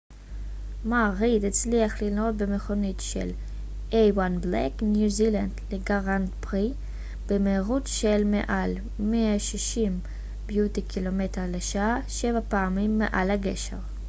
מר ריד הצליח לנהוג במכונית של ניו זילנד לגרנד פרי a1 black beauty במהירות של מעל 160 קמ ש שבע פעמים מעל הגשר